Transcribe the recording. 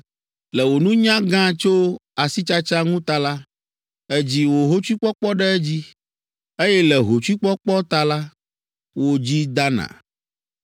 Le wò nunya gã tso asitsatsa ŋu ta la, èdzi wò hotsuikpɔkpɔ ɖe edzi, eye le wò hotsuikpɔkpɔ ta la, wò dzi dana.